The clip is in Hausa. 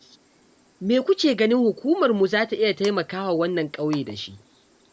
Me kuke ganin hukumarmu za ta iya taimaka wa ƙauyen nan da shi?